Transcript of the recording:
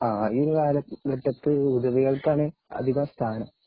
ആഹ് ഈയൊരു കാലത്തു ഹുദവികൾക്കാണ് അധികം സ്ഥാനം